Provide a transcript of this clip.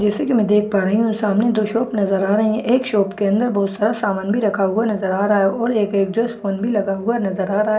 जैसे कि मैं देख पा रही हूं सामने दो शॉप नजर आ रही हैं एक शॉप के अंदर बहुत सारा सामान भी रखा हुआ नजर आ रहा है और एक एग्जॉस्ट फोन लगा हुआ नजर आ रहा है।